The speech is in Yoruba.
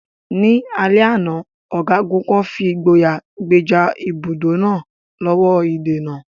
Ní alẹ́ àná, ọ̀gágun kan fi ìgboyà gbèjà ibùdó náà lọ́wọ́ ìdènà.